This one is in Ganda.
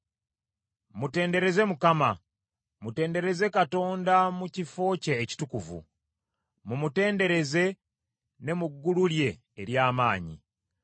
Mutendereze Mukama ! Mutendereze Katonda mu kifo kye ekitukuvu; mumutenderereze ne mu ggulu lye ery’amaanyi.